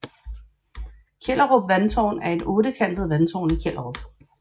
Kjellerup Vandtårn er et ottekantet vandtårn i Kjellerup